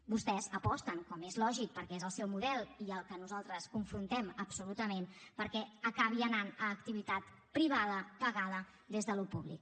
vostès aposten com és lògic perquè és el seu model i el que nosaltres confrontem absolutament perquè acabi anant a activitat privada pagada des del públic